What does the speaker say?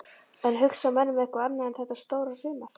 En hugsa menn um eitthvað annað en þetta stóra sumar?